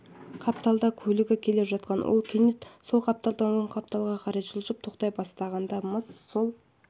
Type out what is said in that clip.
қапталда көлігі келе жатқан ол кенет сол қапталдан оң қапталға қарай жылжып тоқтай бастаған-мыс сол